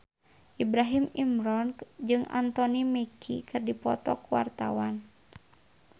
Ibrahim Imran jeung Anthony Mackie keur dipoto ku wartawan